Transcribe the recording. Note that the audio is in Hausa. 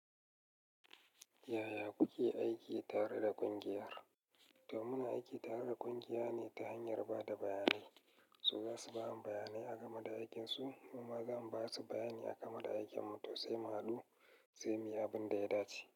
Yaya kuke aiki tare da ƙungiyar? To muna aiki tare da ƙungiya ne ta hanyar ba da bayanai. So za su ba mu bayanai a game da aikinsu, mu ma za mu ba su bayanai a game da aikin mu, to sai mu haɗu, sai mu yi abin da ya dace.